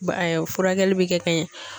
Ba furakɛli bɛ kɛ ka ɲɛ.